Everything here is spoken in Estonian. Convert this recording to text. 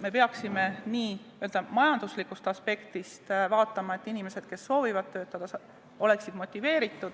Me peaksime majanduslikust aspektist vaatama, et inimesed, kes soovivad töötada, oleksid motiveeritud,